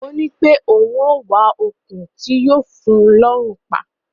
Ó ní pé òun á wá okùn tí yóò fun lọ́hùn pa.